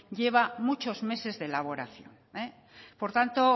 lleva muchos meses de elaboración por tanto